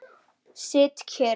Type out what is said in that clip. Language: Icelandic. Sit kyrr.